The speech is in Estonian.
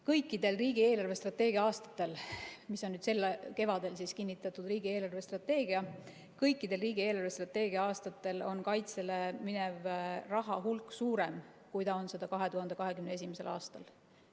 Kõikidel riigi eelarvestrateegia aastatel, see on sel kevadel kinnitatud riigi eelarvestrateegia, on kaitsele mineva raha hulk suurem, kui ta on seda 2021. aastal.